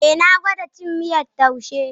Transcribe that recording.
Eh na gwada cin miyar taushe.